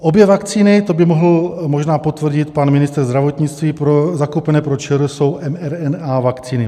Obě vakcíny, to by mohl možná potvrdit pan ministr zdravotnictví, zakoupené pro ČR jsou mRNA vakcíny.